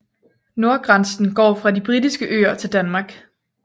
Nordgrænsen går fra De britiske Øer til Danmark